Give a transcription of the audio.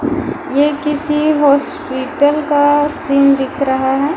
ये किसी hospital scene दिख रहा है ।